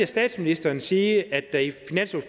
statsministeren sige at